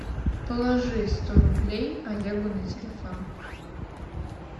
положи сто рублей олегу на телефон